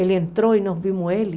Ele entrou e nós vimos ele.